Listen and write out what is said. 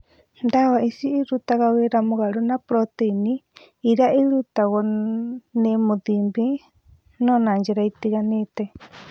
Ndawa ici irutaga wĩra mũgarũ na proteini ĩrĩa ĩrutagwo nĩ imatinib, no na njĩra itiganĩte.